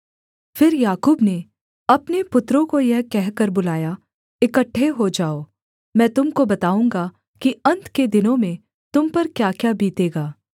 फिर याकूब ने अपने पुत्रों को यह कहकर बुलाया इकट्ठे हो जाओ मैं तुम को बताऊँगा कि अन्त के दिनों में तुम पर क्याक्या बीतेगा